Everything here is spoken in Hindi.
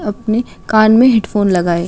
अपने कान मे हैडफ़ोन लगाए --